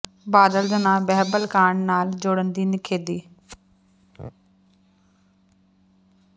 ਬਾਦਲ ਦਾ ਨਾਂ ਬਹਿਬਲ ਕਾਂਡ ਨਾਲ ਜੋੜਨ ਦੀ ਨਿਖੇਧੀ